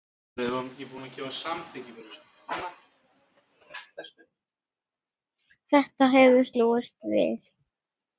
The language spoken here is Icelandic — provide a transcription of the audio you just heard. Þetta hefur snúist við.